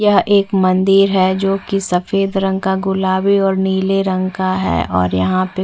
यह एक मंदिर है जो की सफ़ेद रंग का गुलाबी और नीले रंग का हैं और यहाँ पे --